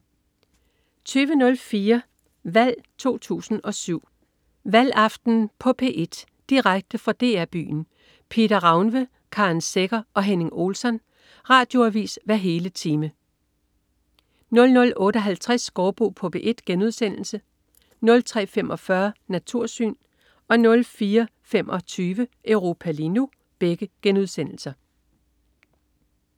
20.04 Valg 07. Valgaften på P1. Direkte fra DR Byen. Pieter Rauwne, Karen Secher og Henning Olsson. Radioavis hver hele time 00.58 Gaardbo på P1* 03.45 Natursyn* 04.25 Europa lige nu*